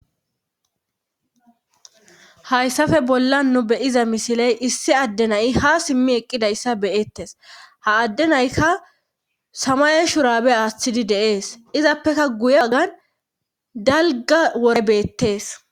hayssafe bolla nu beyiza misiley issi addenayi ha simmi eqqidayssa beyettes ha addenaykka samaye shuraabe aaththidi deees izappeka guye bagan dalga wore beettees